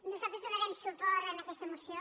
nosaltres donarem su·port a aquesta moció